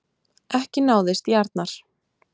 Ekki náðist í Arnar